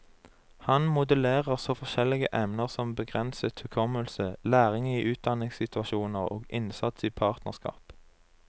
Han modellerer så forskjellige emner som begrenset hukommelse, læring i udanningsinstitusjoner og innsats i partnerskap.